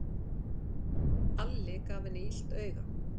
Alli gaf henni illt auga.